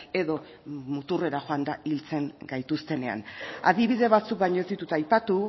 edo muturrera joanda hiltzen gaituztenean adibide batzuk baino ez ditut aipatu